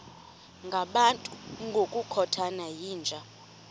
ngabantu ngokukhothana yinja